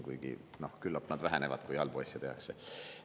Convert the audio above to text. Kuigi küllap needki vähenevad, kui halbu asju tehakse.